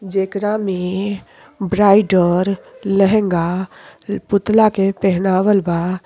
जेकरा में ब्राइडर लहंगा पुतला के पेहनावल बा।